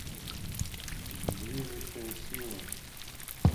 движущая сила